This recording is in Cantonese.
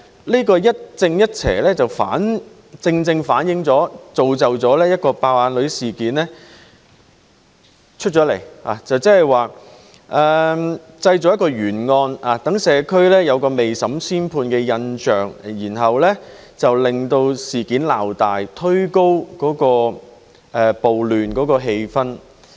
這個一正一邪正正造成"爆眼女"事件，製造了一件懸案，讓社會有未審先判的印象，令事件鬧大，推高暴亂的氣焰。